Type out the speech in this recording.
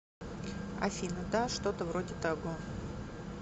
афина да что то вроде того